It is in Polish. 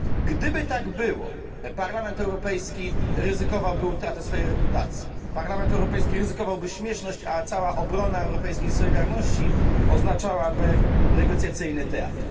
Gdyby tak było, Parlament Europejski ryzykowałby utratę swojej reputacji, Parlament Europejski ryzykowałby śmieszność, a cała obrona europejskiej solidarności oznaczałaby negocjacyjny teatr.